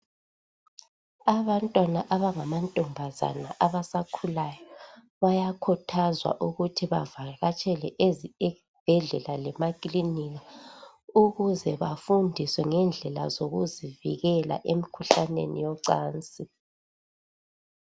Abantwana abangamantombazana abasakhulayo bayakhuthazwa ukuthi bavakatshele ezibhedlela lemakilinika ukuze bafundiswe ngendlela zokuzivikela emkhuhlaneni yocansi.